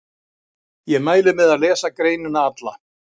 Ég mæli með að lesa greinina alla.